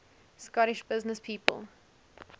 scottish businesspeople